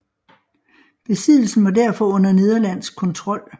Besiddelsen var derfor under nederlandsk kontrol